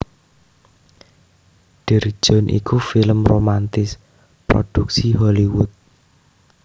Dear John iku film romantis prodhuksi Hollywood